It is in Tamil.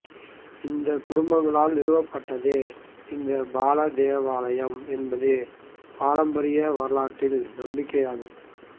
இந்த குடும்பங்களால் நிறுவப்பட்டதே இந்த பாலா தேவாலயம் என்பது பாரம்பரிய வரலாற்று நம்பிக்கையாகும்